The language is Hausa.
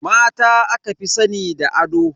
Mata aka fi sani da ado.